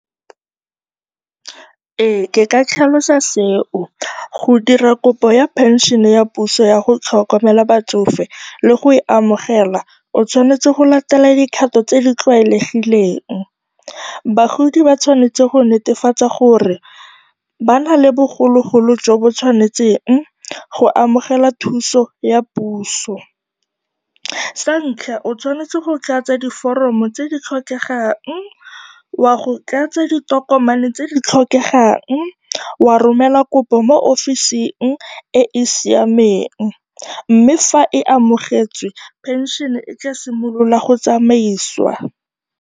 Ee, ke ka tlhalosa seo. Go dira kopo ya phensene ya puso ya go tlhokomela batsofe le go e amogela, o tshwanetse go latela dikgato tse di tlwaelegileng. Bagodi ba tshwanetse go netefatsa gore ba na le bogologolo jo bo tshwanetseng go amogela thuso ya puso. Sa ntlha o tshwanetse go tlatsa diforomo tse di tlhokegang, o ya go tlatsa ditokomane tse di tlhokegang, wa romela kopo mo ofising e e siameng mme fa e amogetswe, pension-e e tla simolola go tsamaisiwa.